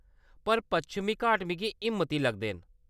पर पश्चिमी घाट मिगी हिम्मती लगदे न।